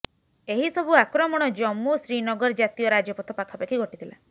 ଏହି ସବୁ ଆକ୍ରମଣ ଜମ୍ମୁ ଶ୍ରୀନଗର ଜାତୀୟ ରାଜପଥ ପାଖାପାଖି ଘଟିଥିଲା